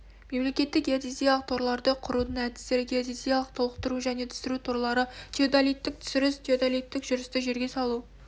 мемлекеттік геодезиялық торларды құрудың әдістері геодезиялық толықтыру және түсіру торлары теодолиттік түсіріс теодолиттік жүрісті жерге салу